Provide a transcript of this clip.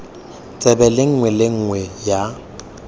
tsebe nngwe le nngwe ya